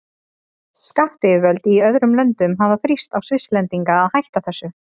Skattyfirvöld í öðrum löndum hafa þrýst á Svisslendinga að hætta þessu.